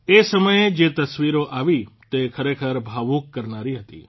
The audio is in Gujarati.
એ સમયે જે તસવીરો આવી તે ખરેખર ભાવુક કરનારી હતી